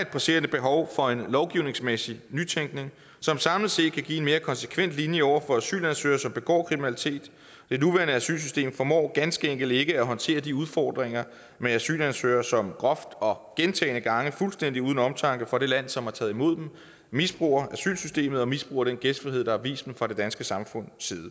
et presserende behov for en lovgivningsmæssig nytænkning som samlet set kan give en mere konsekvent linje over for asylansøgere som begår kriminalitet det nuværende asylsystem formår ganske enkelt ikke at håndtere de udfordringer med asylansøgere som groft og gentagne gange fuldstændig uden tanke for det land som har taget imod dem misbruger asylsystemet og misbruger den gæstfrihed der er vist dem fra det danske samfunds side